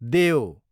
देओ